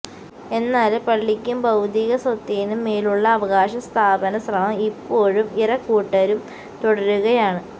എന്നാല് പള്ളിക്കും ഭൌതിക സ്വത്തിനും മേലുള്ള അവകാശ സ്ഥാപന ശ്രമം ഇപ്പോഴും ഇരകൂട്ടരും തുടരുകയാണ്